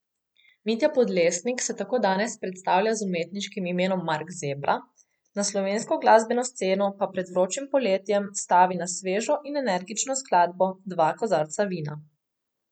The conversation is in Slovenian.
Mitja Podlesnik se tako danes predstavlja z umetniškim imenom Mark Zebra, na slovensko glasbeno sceno pa pred vročim poletjem stavi na svežo in energično skladbo Dva kozarca vina.